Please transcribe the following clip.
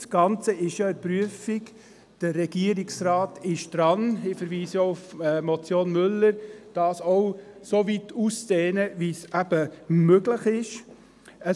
Das Ganze wird zurzeit ja geprüft, der Regierungsrat ist daran, die Vorgaben soweit auszudehnen, wie es eben möglich ist;